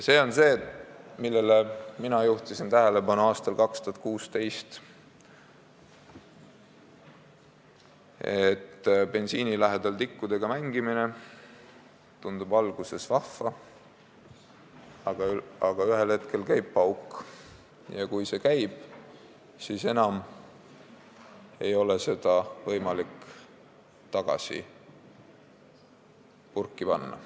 See on see, millele mina juhtisin tähelepanu aastal 2016: bensiini lähedal tikkudega mängimine tundub alguses vahva, aga ühel hetkel käib pauk ja kui see käib, siis ei ole seda enam võimalik tagasi purki panna.